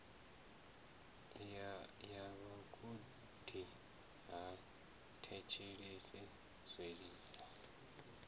ya vhagudi ha thetshelesi zwililo